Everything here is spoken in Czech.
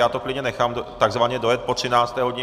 Já to klidně nechám takzvaně dojet po 13. hodině.